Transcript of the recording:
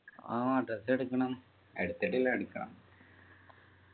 ആഹ് dress എടുക്കണം എടുത്തിട്ടില്ല എടുക്കണം